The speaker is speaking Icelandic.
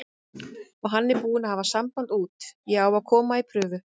Og hann er búinn að hafa samband út, ég á að koma í prufu.